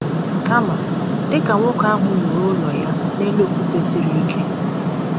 Kama, dị ka nwoke ahụ “wuru ụlọ ya n’elu okwute siri ike.”